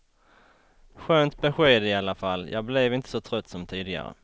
Skönt besked i alla fall, jag blev inte så trött som tidigare.